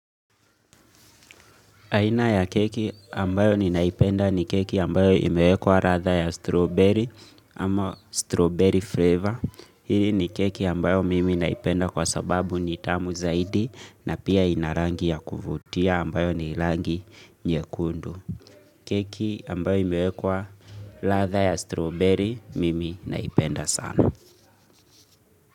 Aina ya keki ambayo ninaipenda ni keki ambayo imewekwa ladha ya strawberry ama strawberry flavor. Hili ni keki ambayo mimi naipenda kwa sababu nitamu zaidi na pia inarangi ya kuvutia ambayo ni rangi nyekundu. Keki ambayo imewekwa ladha ya strawberry mimi naipenda sana.